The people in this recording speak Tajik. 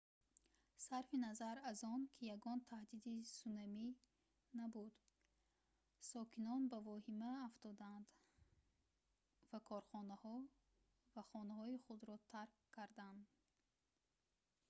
сарфи назар аз он ки ягон таҳдиди сунамӣ набуд сокинон ба вохима афтоданд ва корхонаҳо ва хонаҳои худро тарк кардан